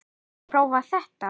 Viltu prófa þetta?